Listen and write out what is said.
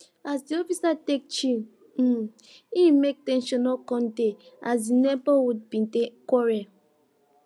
as de officer take chill um e make ten sion no come dey as de neighborhood bin dey quarrel